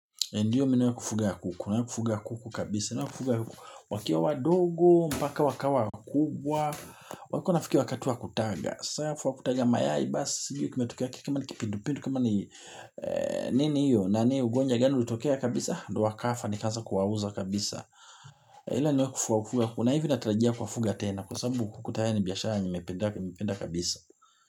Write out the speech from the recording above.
Ndiyo minuwe kufuga ya kuku. Kuna kufuga ya kuku kabisa. Minuwe kufuga ya kuku wakiwa wadogo, mpaka wakawa wakubwa. Wako wanafikia wakati wa kutaga. Saafu wa kutaga mayai basi. Ndiyo kimetokea kiki. Kama ni kipindu pindu. Kama ni nini hiyo. Nani ugonjwa gani ulitokea kabisa. Ndo wakafa nikaanza kuwauza kabisa. Hila niwe kufuga ya kuku. Na hivyo natarajia kuwafuga tena. Kwa sababu kuku tayari ni biashara nimependa kabisa.